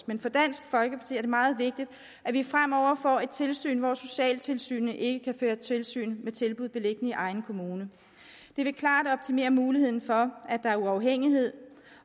men for dansk folkeparti er det meget vigtigt at vi fremover får et tilsyn hvor socialtilsynet ikke kan føre tilsyn med tilbud beliggende i egen kommune det vil klart optimere muligheden for at der er uafhængighed